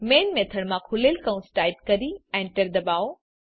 main method માં ખૂલેલ open કૌંસ ટાઈપ કરી Enter દબાવો